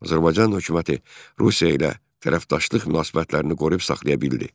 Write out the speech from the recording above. Azərbaycan hökuməti Rusiya ilə tərəfdaşlıq münasibətlərini qoruyub saxlaya bildi.